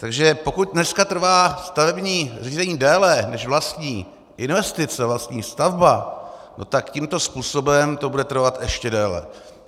Takže pokud dneska trvá stavební řízení déle než vlastní investice, vlastní stavba, no tak tímto způsobem to bude trvat ještě déle.